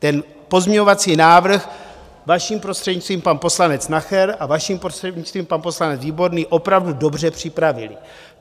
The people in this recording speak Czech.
Ten pozměňovací návrh, vaším prostřednictvím, pan poslanec Nacher a, vaším prostřednictvím, pan poslanec Výborný, opravdu dobře připravili.